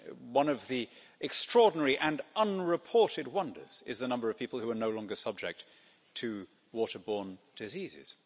One of the extraordinary and unreported wonders is the number of people who are no longer subject to water borne diseases.